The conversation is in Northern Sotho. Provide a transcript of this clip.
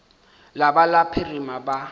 la ba la phirima ba